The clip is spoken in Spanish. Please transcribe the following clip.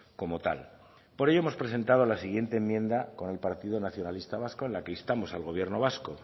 como tal por ello hemos presentado la siguiente enmienda con el partido nacionalista vasco en la que instamos al gobierno vasco